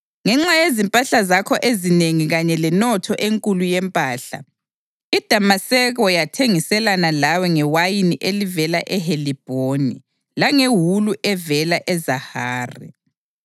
Ngenxa yezimpahla zakho ezinengi kanye lenotho enkulu yempahla, iDamaseko yathengiselana lawe ngewayini elivela eHelibhoni langewulu evela eZahari.